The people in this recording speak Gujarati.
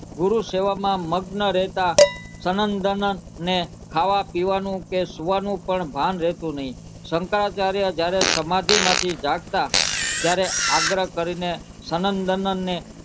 ગુરુ સેવામાં મગ્ન રેહતા સન્તદંત ને ખાવા પીવાનું કે સુવાનું ભાન રેહતો નહિ શંકરાચાર્ય જયારે સમાધિમાંથી જાગતા ત્યારે આગ્ર કરીને સનન દનન ને